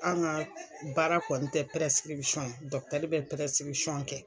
An' ŋa baara kɔ n tɛ ye, bɛ kɛ